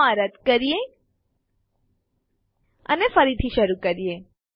ચાલો આ રદ કરીએ અને ફરીથી શરૂ કરીએ